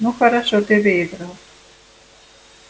ну хорошо ты выиграл